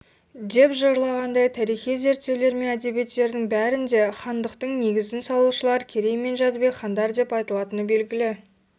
деп жырлағандай тарихи зерттеулер мен әдебиеттердің бәрінде хандықтың негізін салушылар керей мен жәнібек хандар деп айтылатыны белгілі